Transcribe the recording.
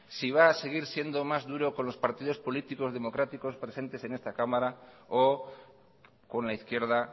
si va a seguir siendo más duro con los partidos políticos democráticos presentes en esta cámara o con la izquierda